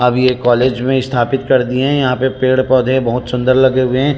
अब यह कॉलेज में इस्थापित कर दिए हे यहाँ पे पेड़-पौधे बहुत सुन्दर लगे हुए हे।